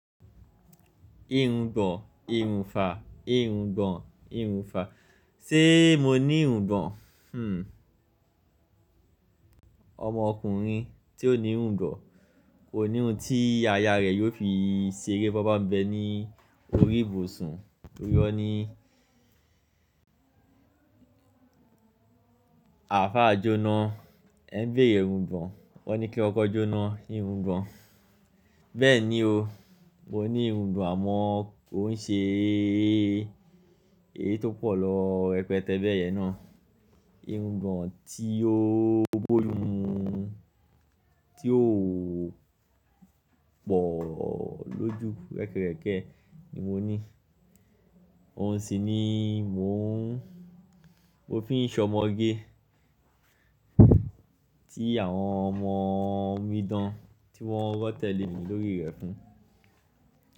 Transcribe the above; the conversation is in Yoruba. Ìrùngbọ̀n, ìrùnfà, ìrùngbọ̀n, ìrùnfà. Sé mo ní ìrùngbọ̀n? Ọmọ ọkùnrin tí ó ní ìrùngbọ̀n kò ní ohun tí aya rẹ̀ yóò fi ṣeré bọ́bà ń bẹ ní orí ìbùsùn. Ó yọ ní, "Àáfá jóná, ẹ̀ ń béèrè ìrùngbọ̀n." Wọ́n ní kí ọkọ jóná ìrùngbọ̀n. Bẹ́ẹ̀ ni o, mo ní ìrùngbọ̀n àmọ́ kò ń ṣe eé tó pò lọ rẹpẹtẹ bẹ́ẹ̀ yẹn ná. Ìrùngbọ̀n tí ó bójú mu, tí ò pọ̀ lójú rẹ́kẹrẹ̀kẹ ni mo ní. Òun sì ni mò ń, mo fi ń ṣọmọge tí àwọn ọmọ omidan, tí wọ́n ń rọ́ tẹ̀lé mi lórí rẹ̀ fún.